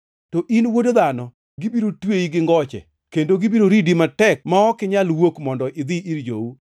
To in, wuod dhano, gibiro tweyi gi ngoche, kendo gibiro ridi matek ma ok inyal wuok mondo idhi ir jou.